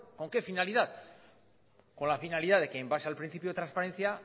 con qué finalidad con la finalidad de que en base al principio de transparencia